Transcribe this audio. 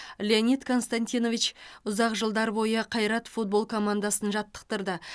леонид константинович ұзақ жылдар бойы қайрат футбол командасын жаттықтырды